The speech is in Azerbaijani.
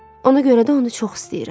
Ona görə də onu çox istəyirəm.